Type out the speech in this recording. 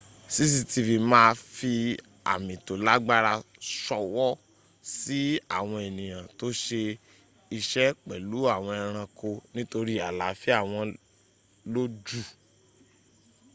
cctv ma fi àmì tó lágbára ṣọwọ́ sí àwọn ènìyàn tó ṣe iṣẹ́ pẹ̀lú àwọn ẹranko nítorí àláfíà wọn ló jù